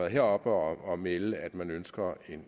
heroppe og melde at man ønsker